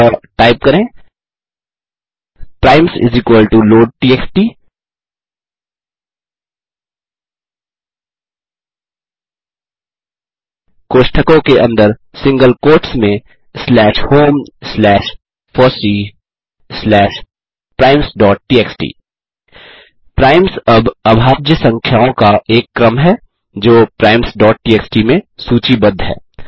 अतः टाइप करें primes load TXT कोष्ठकों के अंदर सिंगल कोट्स में slash home slash FOSSEE slash primesटीएक्सटी प्राइम्स अब अभाज्य संख्याओं का एक क्रम है जोprimestxt में सूची बद्ध है